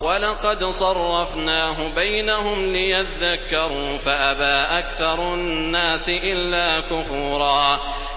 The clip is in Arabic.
وَلَقَدْ صَرَّفْنَاهُ بَيْنَهُمْ لِيَذَّكَّرُوا فَأَبَىٰ أَكْثَرُ النَّاسِ إِلَّا كُفُورًا